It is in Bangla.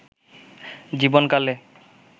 জীবন কালে